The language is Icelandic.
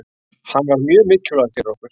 Hann var mjög mikilvægur fyrir okkur.